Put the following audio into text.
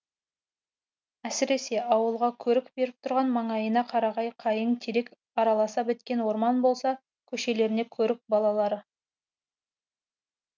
әсіресе ауылға көрік беріп тұрған маңайына қарағай қайың терек араласа біткен орман болса көшелеріне көрік балалары